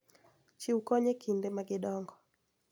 Chiw kony e kinde ma gidongo,